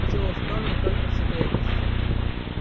дело в том не только в секретности